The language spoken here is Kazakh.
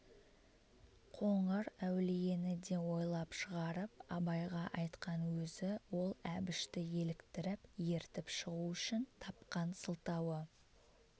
қоңыр әулиені де ойлап шығарып абайға айтқан өзі ол әбішті еліктіріп ертіп шығу үшін тапқан сылтауы